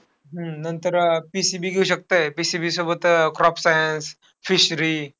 हम्म नंतर अह PCB घेऊ शकतंय. PCB सोबत अह crop sciencefishery.